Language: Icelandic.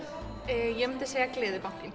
ég myndi segja